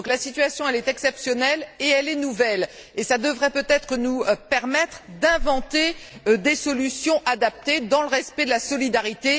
Donc, la situation est exceptionnelle et nouvelle et ça devrait peut être nous permettre d'inventer des solutions adaptées dans le respect de la solidarité.